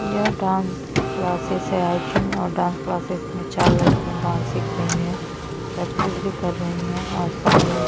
यह dance classes है I think और डान्स क्लासेस में चार लड़कियां डान्स सिख रही है प्रैक्टिस भी कर रही है और सामने --